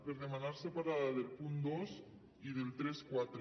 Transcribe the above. per demanar separada del punt dos i del trenta quatre